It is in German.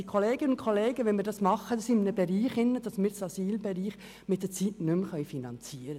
Liebe Kolleginnen und Kollegen, wenn wir dies einführen, dann können wir das Asylwesen irgendwann nicht mehr finanzieren.